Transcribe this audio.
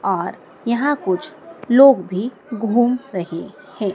और यहाँ कुछ लोग भी घूम रहे है।